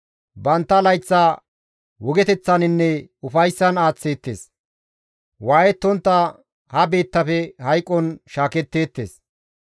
Bantta layththa wogeteththaninne ufayssan aaththeettes; waayettontta ha biittafe hayqon shaaketteettes.